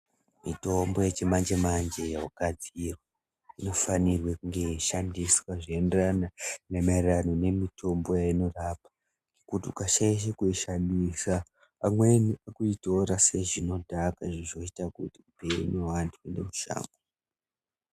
Mitombo yechimanje-manje yogadzirwa inofanirwe kunge yeishandiswa zvinoenderana maererano nemitombo yeinorapa kuti ukashaishe kuishandisa pamweni nekuitora sezvinodhaka izvo zvinoita kuti upenyu weantu uende mushango.